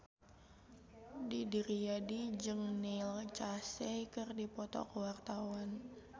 Didi Riyadi jeung Neil Casey keur dipoto ku wartawan